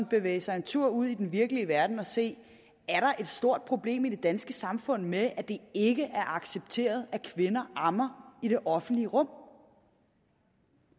bevæge sig en tur ud i den virkelige verden og se er et stort problem i det danske samfund med at det ikke er accepteret at kvinder ammer i det offentlige rum